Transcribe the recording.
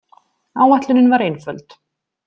Áætlunin var einföld.